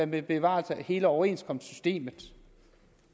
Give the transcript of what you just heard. med bevarelse af hele overenskomstsystemet